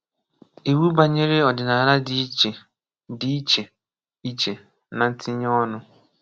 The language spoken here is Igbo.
Iwu banyere ọdịnala dị iche dị iche iche na ntinye ọ́nū